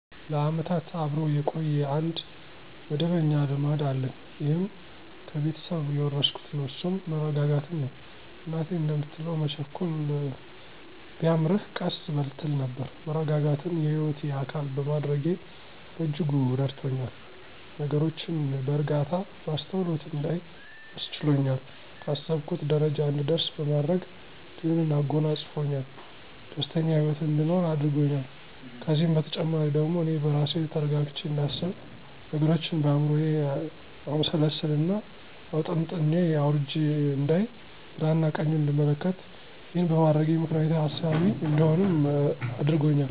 ለዓመታት አብሮ የቆየ አንድ መደበኛ ልማድ አለኝ ይህም ከቤተሰብ የወረስኩት ነው እሱም መረጋጋትን ነው። እናቴ እንደምትለው መቸኮል ቢያምርህ ቀስ በል ትል ነበር። መረጋጋትን የህይወቴ አካል በማድረጌ በእጅጉ ረድቶኛል፤ ነገሮችን በእርጋታ፣ በአስተውሎት እንዳይ አስችሎኛል፣ ካሰብኩት ጀረጃ እንድደርስ በማድረግ ድልን አጎናጸፅፎኛል፣ ደስተኛ ሂወትን አንድኖር አድርጎኛል። ከዚህም በተጨማሪ ደግሞ አኔ በራሴ ተረጋግቸ እንዳስብ፥ ነገሮችን በአይምሮየ አምሰልስየና አውጠንጥኘ አውርጀ አንዳይ፥ ግራና ቀኙን እንድመለከት፣ ይህን በማድረጌ ምክንያታዊ ሀሳቢ እንድሆንም አድርጎኛል።